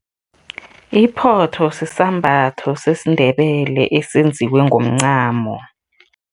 Iphotho sisambatho sesiNdebele esenziwe ngomncamo.